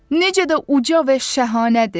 Necə də uca və şəhanədir!